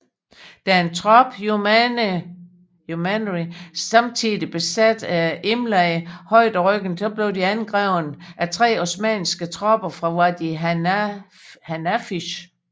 Da en trop youmanry samtidig besatte Imleih højderyggen blev de angrebet af tre osmanniske tropper fra Wadi Hanafish